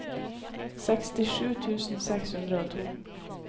sekstisju tusen seks hundre og to